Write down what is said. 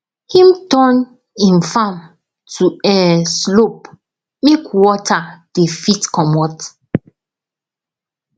him turn him farm to um slope make water dey fit comot